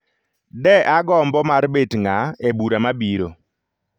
De agombo mar bet ng'a e bura mabiro.